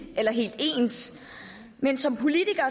eller helt ens men som politikere